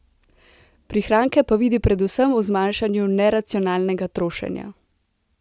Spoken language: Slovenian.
Prihranke pa vidi predvsem v zmanjšanju neracionalnega trošenja.